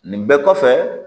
Nin bɛɛ kɔfɛ